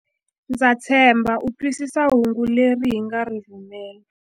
Ndza tshemba u twisisa hungu leri hi nga ri rhumela.